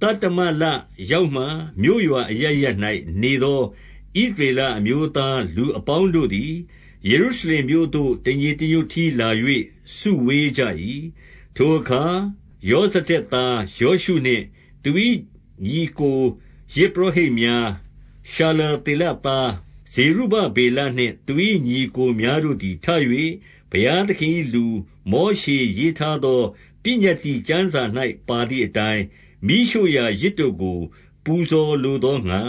သတ္တမလရောက်မှ မြို့ရွာအရပ်ရပ်၌ နေသော ဣသရေလအမျိုးသားလူအပေါင်းတို့သည်၊ ယေရုရှလင် မြို့သို့ တညီတညွတ်တည်းလာ၍ စုဝေးကြ၏။ 2 ထိုအခါ ယောဇဒက်သားယောရှုနှင့် သူ၏ညီအစ်ကို ယဇ်ပုရောဟိတ်များ၊ ရှာလသေလသား ဇေရုဗ ဗေလနှင့် သူ၏ညီအစ်ကိုများတို့သည်ထ၍ ဘုရားသခင် ၏လူ မောရှေရေးထားသော ပညတ္တိကျမ်းစာ၌ ပါသည် အတိုင်း၊ မီးရှို့ရာ ယဇ်တို့ကိုပူဇော်လိုသောငှါ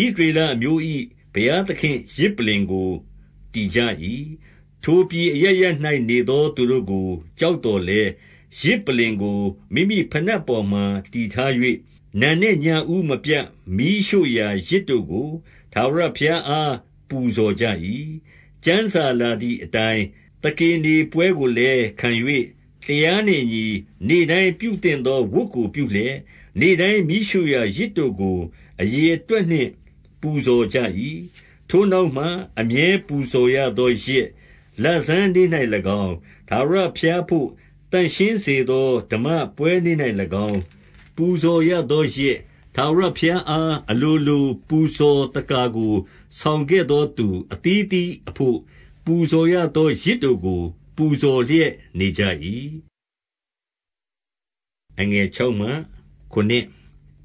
၊ ဣသရေလ အမျိုး၏ ဘုရားသခင့်ယဇ်ပလ္လင်ကိုတည်ကြ၏။ 3 ထိုပြည်အရပ်ရပ်၌ နေသောသူတို့ကို ကြောက်သော်လည်း၊ ယဇ်ပလ္လင်ကို မိမိဘိနပ်ပေါ်မှာ တည်ထား ၍၊ နံနက်ညဦးမပြတ်မီးရှို့ရာယဇ်တို့ကို ထာဝရဘုရား အား ပူဇော်ကြ၏။ 4 ကျမ်းစာလာသည်အတိုင်း၊ သကေနေပွဲကိုလည်းခံ၍ တရားနှင့်အညီ နေ့တိုင်းပြုသင့်သော ဝတ်ကိုပြုလျက်၊ နေ့တိုင်းမီးရှို့ရာယဇ်တို့ကို အရေအတွက်နှင့် ပူဇော်ကြ၏။ 5 ထိုနောက်မှ အမြဲပူဇော်ရသောယဇ်၊ လဆန်းနေ့ ၌၎င်း၊ ထာဝရဘုရားအဘို့ သန့်ရှင်းစေသော ဓမ္မပွဲနေ့ ၌၎င်း၊ ပူဇော်ရသောယဇ်၊ ထာဝရဘုရားအား အလိုလိုပူဇော်သက္ကာကို ဆောင်ခဲ့သောသူ အသီးအသီးအဘို့ ပူဇော်ရသော ယဇ်တို့ကို ပူဇော်လျက်နေကြ၏။ 6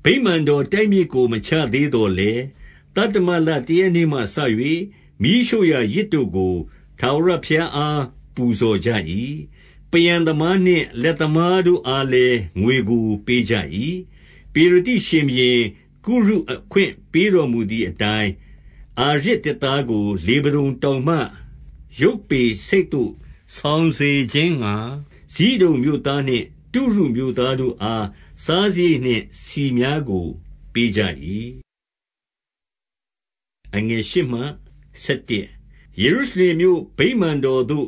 ဗိမာန်တော် တိုက်မြစ်ကိုမချသေးသော်လည်း၊ သတ္တမလတရက်နေ့မှစ၍ မီးရှို့ရာယဇ်တို့ကို ထာဝရ ဘုရားအား ပူဇော်ကြ၏။ 7 ပန်ရန်သမားနှင့် လက်သမားတို့အားလည်း ငွေကိုပေးကြ၏။ ပေရသိရှင်ဘုရင်ကုရု အခွင့်ပေးတော်မူ သည်အတိုင်း၊ အာရဇ်သစ်သားကို လေဗနုန်တောင်မှ ယုပ္ပေဆိပ်သို့ ဆောင်စေခြင်းငှါ၊ ဇိဒုန်မြို့သားနှင့် တုရှ မြို့သားတို့အား၊ စားစရိတ်နှင့် ဆီများကိုပေးကြ၏။ 8 ယေရုရှလင်မြို့ ဗိမာန်တော်သို့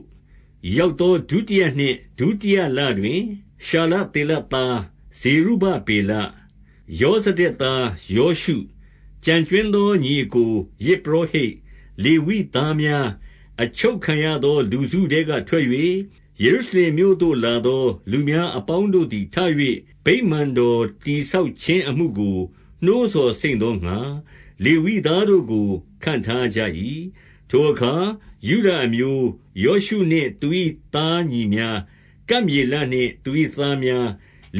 ရောက်သော ဒုတိယနှစ်၊ ဒုတိယလတွင် ရှာလသေလသား ဇေရုဗ ဗေလ၊ ယောဇဒတ်သားယောရှု၊ ကျန်ကြွင်းသော ညီ အစ်ကို၊ ယဇ်ပုရောဟိတ်၊ လေဝိသားများ၊ အချုပ်ခံရ သော လူစုထဲကထွက်၍၊ ယေရုရှလင်မြို့သို့လာသော လူများအပေါင်းတို့သည် ထ၍ ဗိမာန်တော်တည်ဆောက် ခြင်းအမှုကို နှိုးဆော်စိမ့်သောငှါ လေဝိသားတို့ကို ခန့်ထားကြ၏။ 9 ထိုအခါယုဒအမျိုး၊ ယောရှုနှင့်သူ၏သားညီများ၊ ကပ်မျေလနှင့်သူ၏သားများ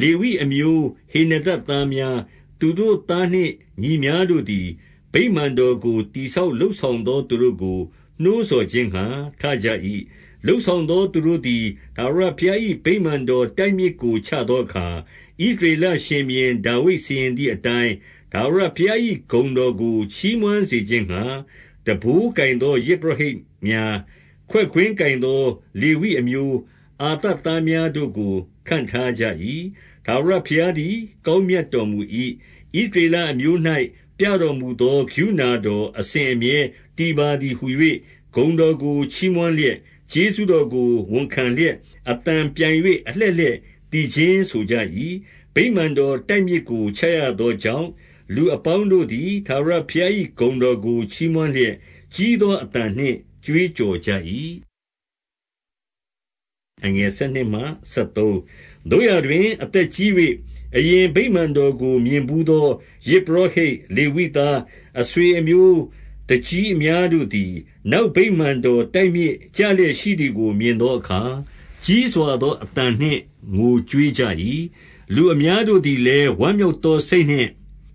၊ လေဝိအမျိုးဟေနဒဒ်သား များ၊ သူတို့သားနှင့် ညီများတို့သည်၊ ဗိမာန်တော်ကို တည်ဆောက်လုပ်ဆောင်သော သူတို့ကိုနှိုးဆော်ခြင်းငှါ ထကြ၏။ 10 လုပ်ဆောင်သောသူတို့သည် ထာဝရဘုရား၏ ဗိမာန်တော်တိုက်မြစ်ကိုချသောအခါ၊ ဣသရေလ ရှင်ဘုရင် ဒါဝိဒ်စီရင်သည်အတိုင်း၊ ထာဝရဘုရား၏ ဂုဏ်တော်ကိုချီးမွမ်းစေခြင်းငှါ၊ တံပိုးကိုင်သော ယဇ် ပုရောဟိတ်များ၊ ခွက်ကွင်းကိုင်သောလေဝိအမျိုး၊ အာသပ်သားများတို့ကို ခန့်ထားကြ၏။ 11 ထာဝရဘုရားသည် ကောင်းမြတ်တော်မူ၏။ ဣသရေလအမျိုး၌ ပြတော်မူသော ကရုဏာတော် အစဉ်အမြဲ တည်ပါသည်ဟူ၍ ဂုဏ်တော်ကို ချီးမွမ်းလျက်၊ ကျေးဇူတော်ကို ဝန်ခံလျက်၊ အသံပြိုင်၍ အလှည့်လှည့်သီ ချင်းဆိုကြ၏။ ဗိမာန်တော်တိုက်မြစ်ကို ချရသောကြောင့်၊ လူအပေါင်းတို့သည် ထာဝရဘုရား၏ဂုဏ်တော်ကို ချီးမွမ်းလျက်၊ ကြီးသောအသံနှင့် ကြွေးကြော်ကြ၏။ 12 သို့ရာတွင်အသက်ကြီး၍ အရင်ဗိမာန်တော်ကို မြင်ဘူးသော ယဇ်ပုရောဟိတ်၊ လေဝိသား၊ အဆွေအမျိုး သူကြီးအများတို့သည်၊ နောက်ဗိမာန်တော်တိုက်မြစ်ကျ လျက်ရှိသည်ကို မြင်သောအခါ၊ ကြီးစွာသော အသံနှင့် ငိုကြွေးကြ၏။ လူအများတို့သည်လည်း ဝမ်းမြောက်သော စိတ်နှင့်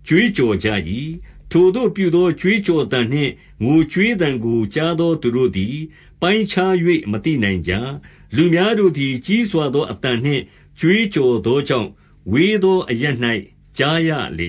ကြွေးကြော်ကြ၏။ 13 ထိုသို့ပြုသော ကြွေးကြော်သံနှင့်ငိုကြွေးသံကို ကြားသော သူတို့သည် ပိုင်းခြား၍ မသိနိုင်ကြ။ လူများ တို့သည် ကြီးစွာသောအသံနှင့် ကြွေးကြော်သောကြောင့်၊ ဝေးသောအရပ်၌ ကြားရလေ